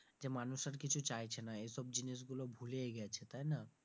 যে মানুষ আর কিছু চাইছে না, এসব জিনিস গুলো ভুলেই গেছে তাই না?